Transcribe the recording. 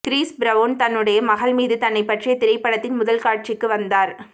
Chris Brown தன்னுடைய மகள் மீது தன்னைப் பற்றிய திரைப்படத்தின் முதல் காட்சிக்கு வந்தார்